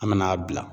An mɛna a bila